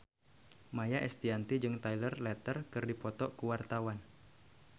Maia Estianty jeung Taylor Lautner keur dipoto ku wartawan